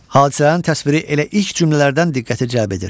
Hadisələrin təsviri elə ilk cümlələrdən diqqəti cəlb edir.